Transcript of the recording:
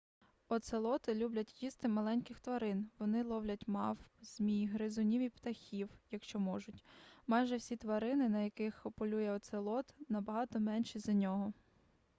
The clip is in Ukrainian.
оцелоти люблять їсти маленьких тварин вони ловлять мавп змій гризунів і птахів якщо можуть майже всі тварини на яких полює оцелот набагато менші за нього